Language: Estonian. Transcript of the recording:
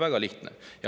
Väga lihtne.